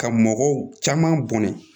Ka mɔgɔw caman bɔnɛ